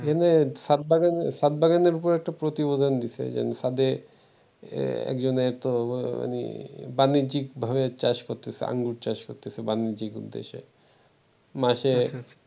এখানে সাদ্দামের সাদ্দামের একটা প্রতিবেদন দিছে যে, ছাদে একজনে একটা মানে বাণিজ্যিক ভাবে চাষ করতেছে আঙ্গুরের চাষ করতেছে বাণিজ্যিক উদ্দেশে। মাস এ